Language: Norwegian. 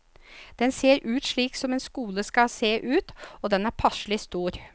Den ser ut slik som en skole skal se ut, og den er passelig stor.